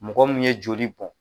Mɔgɔ min ye joli bɔn